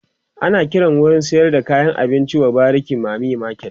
ana Kiran wurin sayar da kayan abinci w bariki mami market